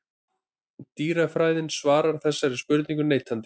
Dýrafræðin svarar þessari spurningu neitandi.